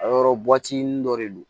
A yɔrɔ dɔ de don